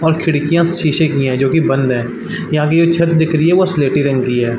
और खिड़किया शीशे की है जो की बंद है यहाँ की ये छत्त दिख रही है वो स्लेटी रंग की है ।